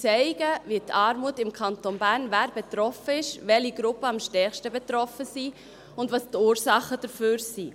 Sie zeigen die Armut im Kanton Bern, wer betroffen ist, welche Gruppen am stärksten betroffen sind, und welches die Ursachen dafür sind.